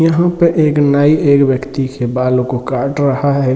यहाँ पे एक नाई एक व्यक्ति के बालो को काट रहा है।